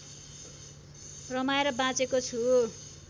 रमाएर बाँचेको छु